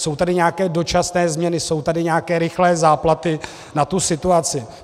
Jsou tady nějaké dočasné změny, jsou tady nějaké rychlé záplaty na tu situaci.